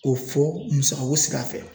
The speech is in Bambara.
K'o fɔ musaga ko sira fɛ.